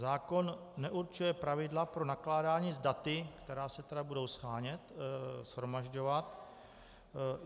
Zákon neurčuje pravidla pro nakládání s daty, která se tedy budou shánět, shromažďovat.